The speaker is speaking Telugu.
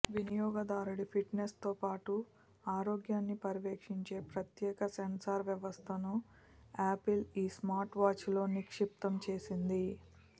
వినియోగదారుడి ఫిట్నెస్ తో పాటు ఆరోగ్యాన్ని పర్యవేక్షించే ప్రత్యేక సెన్సార్ వ్యవస్థను యాపిల్ ఈ స్మార్ట్వాచ్లో నిక్షిప్తం చేసింది